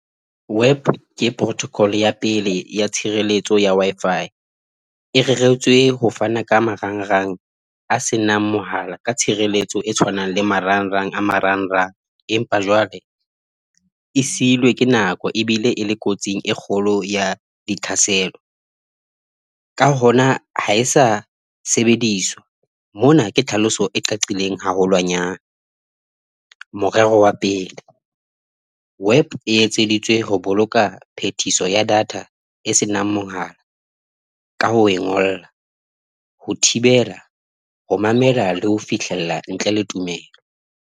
WEP ke protocol ya pele ya tshireletso ya Wi-Fi e reretswe ho fana ka marangrang a se nang mohala ka tshireletso e tshwanang le marangrang a marangrang. Empa jwale e seilwe ke nako ebile e le kotsing e kgolo ya ditlhaselo. Ka hona ha e sa sebediswa mona ke tlhaloso e qaqileng haholwanyane. Morero wa pele, WEP e etseditswe ho boloka phethiso ya data e senang mohala ka ho e ngolla, ho thibela, ho mamela le ho fihlella ntle le tumelo.